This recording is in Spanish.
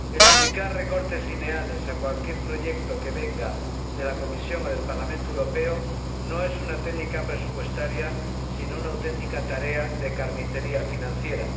Aplicar recortes lineales a cualquier proyecto que venga de la Comisión o del Parlamento Europeo no es una técnica presupuestaria sino una auténtica tarea de carnicería financiera.